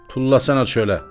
Tullasana çölə.